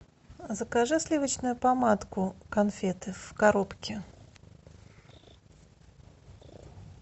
закажи сливочную помадку конфеты в коробке